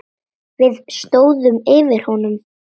Við stóðum yfir honum.